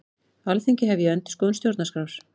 Alþingi hefji endurskoðun stjórnarskrár